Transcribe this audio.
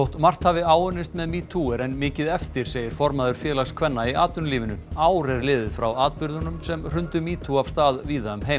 margt hafi áunnist með metoo er enn mikið eftir segir formaður Félags kvenna í atvinnulífinu ár er liðið frá atburðunum sem hrundu metoo af stað víða um heim